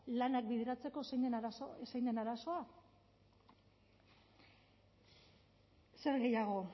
lanak bideratzeko zein den arazoa zer gehiago